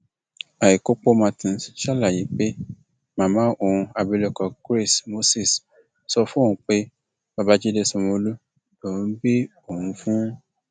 àìkópómartins ṣàlàyé pé màmá òun abilékọ grace moses sọ fóun pé babájídé sanwóolú lòún bí òun fún